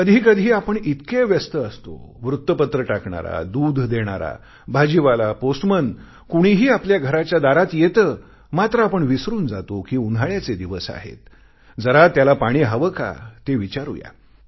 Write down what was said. कधीकधी आपण इतके व्यस्त असतो वृत्तपत्र टाकणारा दूध देणारा भाजीवाला पोस्टमन कुणीही आपल्या घराच्या दारी येते मात्र आपण विसरून जातो कि उन्हाळ्याचे दिवस आहेत जरा त्याला पाणी हवे का ते विचारू या